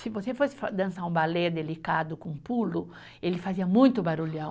Se você fosse fa, dançar um balé delicado com pulo, ele fazia muito barulhão.